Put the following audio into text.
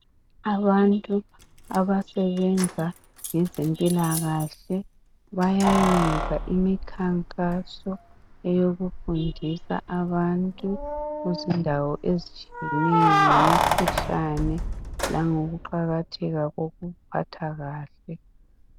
Abantu abasebenza ngezempilakahle bayayenza imikhankaso eyokufundisa abantu kuzindawo ezitshiyeneyo ngemikhuhlane langokuqakatheka kokuziphatha kahle